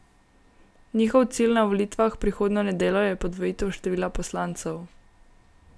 Njihov cilj na volitvah prihodnjo nedeljo je podvojitev števila poslancev.